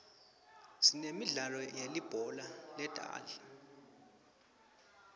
sinemidlalo yelibhola letandla